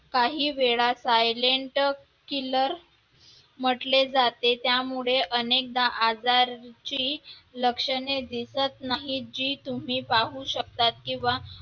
काही वेळा silent killer म्हटले जाते त्यामुळे अनेकदा आजारची लक्षणे दिसत नाहीत जी तुम्ही पाहू शकता किंवा